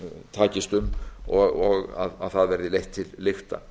takist um og að það verði leitt til lykta